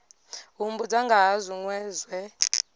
humbudza nga ha zwinwe zwe